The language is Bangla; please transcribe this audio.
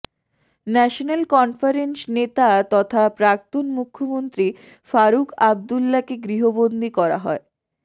ন্যাশনাল কনফারেন্স নেতা তথা প্রাক্তন মুখ্যমন্ত্রী ফারুক আবদ্দুলাকে গৃহবন্দি করা হয়